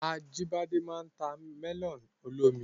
Ajíbọ́lá máa n ta mẹ́lọ̀nù olómi